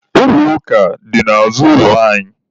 Ụlọ ụka dị n'azụ ụlọ anyị.